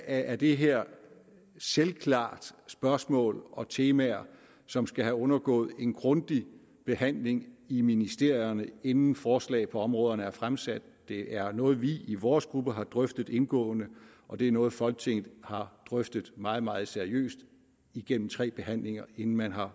er det her selvklart spørgsmål og temaer som skal have undergået en grundig behandling i ministerierne inden forslag på områderne bliver fremsat det er noget vi i vores gruppe har drøftet indgående og det er noget folketinget har drøftet meget meget seriøst igennem tre behandlinger inden man har